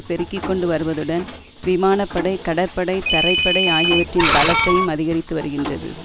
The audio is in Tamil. பெருக்கிக்கொண்டு வருவதுடன் விமான படை கடற்படை தரைப்படை ஆகியவற்றின் பலத்தையும் அதிகரித்து வருகின்றது